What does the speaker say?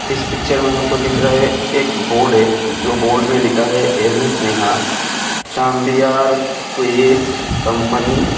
इस पिक्चर में हमको दिख रहा है एक बोर्ड है जो बोर्ड में लिखा है एम्.एस. नेहा साम्बियार क्विड कंपनी --